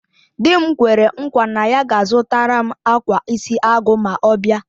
Di m kwere nkwa na ya ga-azutaram akwa isi agu ma ọ bia